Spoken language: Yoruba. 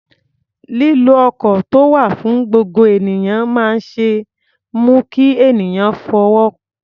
Lílo ọkọ̀ tó wà fún gbogbo ènìyàn máa ń mú kí ènìyàn fowó pamọ́.